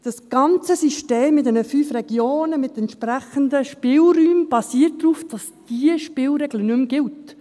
» Das ganze System in den fünf Regionen mit entsprechenden Spielräumen basiert darauf, dass diese Spielregel nicht mehr gilt.